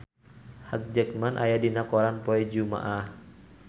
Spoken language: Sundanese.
Hugh Jackman aya dina koran poe Jumaah